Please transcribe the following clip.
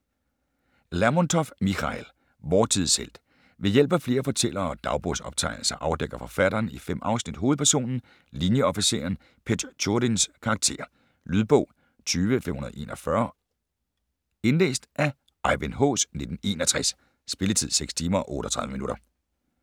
Lermontov, Michail: Vor tids helt Ved hjælp af flere fortællere og dagbogsoptegnelser afdækker forfatteren i 5 afsnit hovedpersonen, linieofficeren Petjorin's karakter. Lydbog 20541 Indlæst af Ejvind Haas, 1961. Spilletid: 6 timer, 38 minutter.